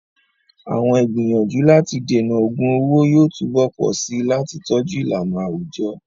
Àwọn ìgbìyànjú láti dènà ògun owó yóò túbọ̀ pọ̀ sí i láti tọ́jú ìlànà àwùjọ.